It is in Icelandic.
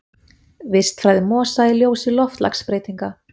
Vistfræði mosa í ljósi loftslagsbreytinga.